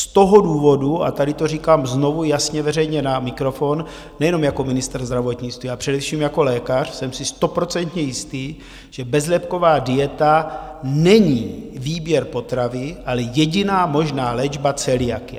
Z toho důvodu, a tady to říkám znovu, jasně, veřejně na mikrofon, nejenom jako ministr zdravotnictví, ale především jako lékař: jsem si stoprocentně jistý, že bezlepková dieta není výběr potravy, ale jediná možná léčba celiakie.